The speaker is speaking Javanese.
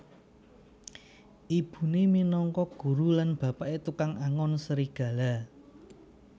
Ibune minangka guru lan bapake tukang angon serigala